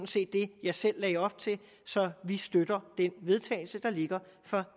set det jeg selv lagde op til så vi støtter det forslag vedtagelse der ligger fra